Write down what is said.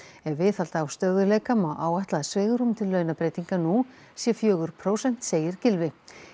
ef viðhalda á stöðugleika má áætla að svigrúm til launabreytinga nú sé fjögur prósent segir Gylfi